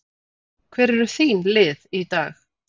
Hver eru þín lið í dag?